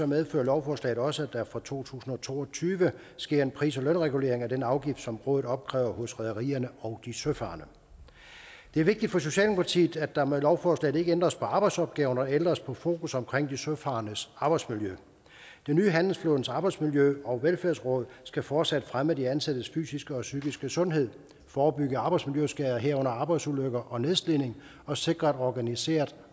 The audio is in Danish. medfører lovforslaget også at der fra to tusind og to og tyve sker en pris og lønregulering af den afgift som rådet opkræver hos rederierne og de søfarende det er vigtigt for socialdemokratiet at der med lovforslaget ikke ændres på arbejdsopgaverne og ændres på fokus omkring de søfarendes arbejdsmiljø det nye handelsflådens arbejdsmiljø og velfærdsråd skal fortsat fremme de ansattes fysiske og psykiske sundhed forebygge arbejdsmiljøskader herunder arbejdsulykker og nedslidning og sikre organiseringen af